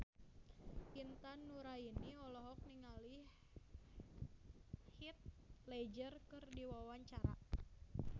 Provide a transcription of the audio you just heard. Intan Nuraini olohok ningali Heath Ledger keur diwawancara